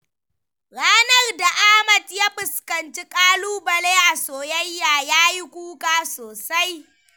Ranar da Ahmad ya fuskanci ƙalubale a soyayya, ya yi kuka sosai.